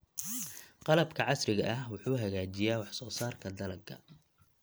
Qalabka casriga ah wuxuu hagaajiyaa wax-soo-saarka dalagga.